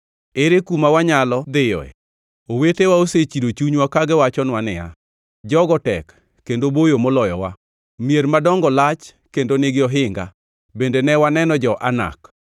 Ere kuma wanyalo dhiyoe? Owetewa osechido chunywa, ka giwachonwa niya, “Jogo tek kendo boyo moloyowa, mier madongo lach kendo nigi ohinga, bende ne waneno jo-Anak.”